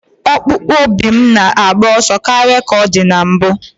Ọkpụkpụ obi m na-agba ọsọ karịa ka ọ dị na mbụ.